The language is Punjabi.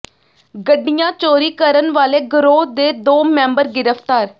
ਗੱਡੀਆਂ ਚੋਰੀ ਕਰਨ ਵਾਲੇ ਗਰੋਹ ਦੇ ਦੋ ਮੈਂਬਰ ਗਿ੍ਫ਼ਤਾਰ